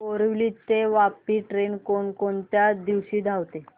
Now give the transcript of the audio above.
बोरिवली ते वापी ट्रेन कोण कोणत्या दिवशी धावते